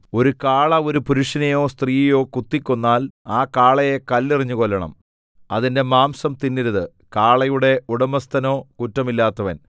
ഒരു കാള ഒരു പുരുഷനെയോ സ്ത്രീയെയോ കുത്തിക്കൊന്നാൽ ആ കാളയെ കല്ലെറിഞ്ഞു കൊല്ലണം അതിന്റെ മാംസം തിന്നരുത് കാളയുടെ ഉടമസ്ഥനോ കുറ്റമില്ലാത്തവൻ